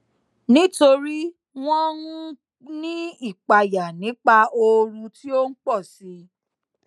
nítorí wọn n ní ìpayà nípa ooru tí ó n pọsi